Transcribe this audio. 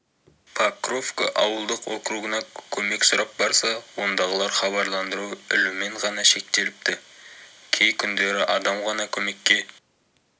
покровка ауылдық округына көмек сұрап барса ондағылар хабарландыру ілумен ғана шектеліпті кей күндері адам ғана көмекке